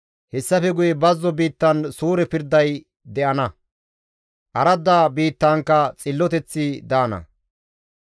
Hessafe guye bazzo biittan suure pirday de7ana; aradda biittankka xilloteththi daana.